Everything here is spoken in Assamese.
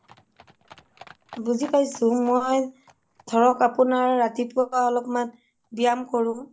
বুজি পায়ছো মই ধৰক আপোনাৰ ৰাতিপুৱা অলপমান বিয়্যাম কৰোঁ